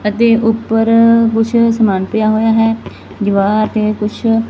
ਅਤੇ ਊਪਰ ਕੁਛ ਸਮਾਨ ਪਿਆ ਹੋਇਆ ਹੈ ਦਿਵਾਰ ਤੇ ਕੁੱਛ--